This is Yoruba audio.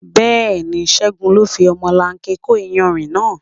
Bẹ́ẹ̀ni, Ségun ló fi ọmọlanke kó iyanrìn náà.